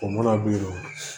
O mana birɔ